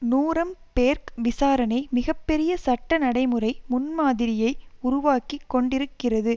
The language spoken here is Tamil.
நூரம்பேர்க் விசாரணை மிக பெரிய சட்ட நடைமுறை முன்மாதிரியை உருவாக்கி கொண்டிருக்கிறது